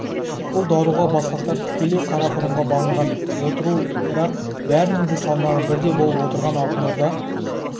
бұл даруға басқақтар тікелей қарақұрымға бағынған отыру бірақ бәрінің де салмағы бірдей болып отырған алтын орда